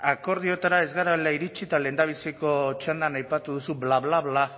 akordioetara ez garela iritsi eta lehendabiziko txandan aipatu duzu bla bla bla